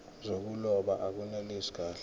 zokuloba akunelisi kahle